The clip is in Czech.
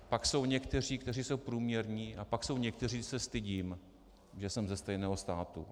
Pak jsou někteří, kteří jsou průměrní, a pak jsou někteří, že se stydím, že jsem ze stejného státu.